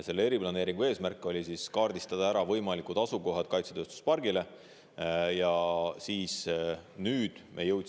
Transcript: Selle eesmärk oli kaardistada ära kaitsetööstuspargi võimalikud asukohad.